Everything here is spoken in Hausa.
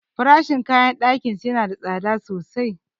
Farashin kayan ɗakinsu yana da tsada sosai.